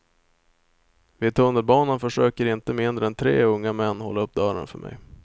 Vid tunnelbanan försöker inte mindre än tre unga män hålla upp dörren för mig.